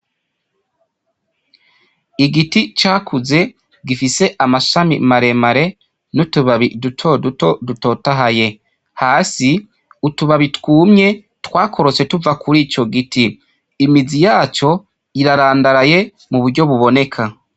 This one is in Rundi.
Igiti cakuze gifise amashami maremare nutubabi dutoduto dutotahaye, hasi utubabi twumye twakorotse tuva kuri ico gito, imisi yaco irarandaraye muburyo buboneka.